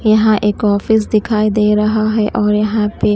यहां एक ऑफिस दिखाई दे रहा है और यहां पे--